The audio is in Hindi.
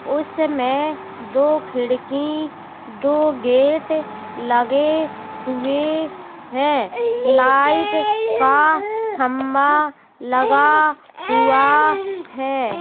उसमे दो खिड़की दो गेट लगे हुए हैं। लाइट का खम्बा लगा हुआ हैं।